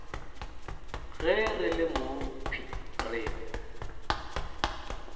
ge re le mokhwi re